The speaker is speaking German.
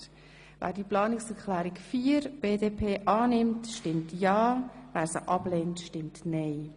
Wer Planungserklärung 5 annehmen will, stimmt ja, wer sie ablehnt, stimmt nein.